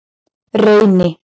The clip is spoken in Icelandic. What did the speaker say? Reyni